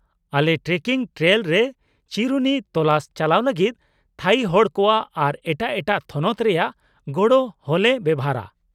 -ᱟᱞᱮ trekking trail ᱨᱮ ᱪᱤᱨᱩᱱᱤ ᱛᱚᱞᱟᱥ ᱪᱟᱞᱟᱣ ᱞᱟᱹᱜᱤᱫ ᱛᱷᱟᱹᱭᱤ ᱦᱚᱲ ᱠᱚᱣᱟᱜ ᱟᱨ ᱮᱴᱟᱜ ᱮᱴᱟᱜ ᱛᱷᱚᱱᱚᱛ ᱨᱮᱭᱟᱜ ᱜᱚᱲᱚ ᱦᱚᱞᱮ ᱵᱮᱣᱦᱟᱨᱟ ᱾